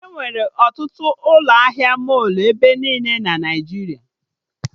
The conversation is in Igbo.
Enwere ọtụtụ ụlọ ahịa mọlụ ebe niile na Naijiria